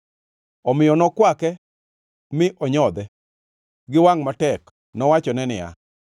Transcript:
Omiyo nokwake mi onyodhe, gi wangʼ matek, nowachone niya: